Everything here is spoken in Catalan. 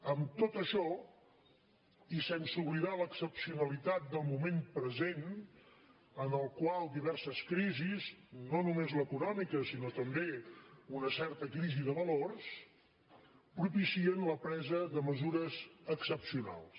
amb tot això i sense oblidar l’excepcionalitat del moment present en el qual diverses crisis no només l’econòmica sinó també una certa crisi de valors propicien la presa de mesures excepcionals